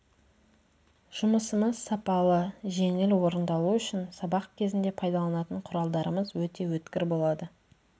жұмысымыз сапалы жеңіл орындалу үшін сабақ кезінде пайдаланатын құралдарымыз өте өткір болады